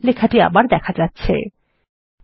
লেখাটি আবার দেখা যাচ্ছে160